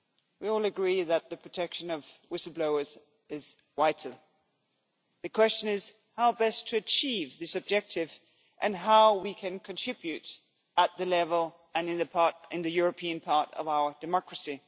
We all agree that the protection of whistle blowers is vital. The question is how best to achieve this objective and how we can contribute at the European level and in the European part of our democracy.